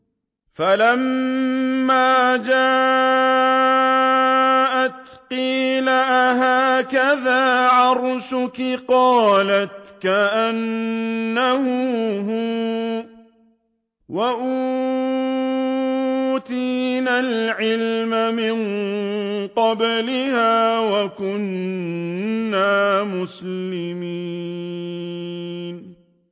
فَلَمَّا جَاءَتْ قِيلَ أَهَٰكَذَا عَرْشُكِ ۖ قَالَتْ كَأَنَّهُ هُوَ ۚ وَأُوتِينَا الْعِلْمَ مِن قَبْلِهَا وَكُنَّا مُسْلِمِينَ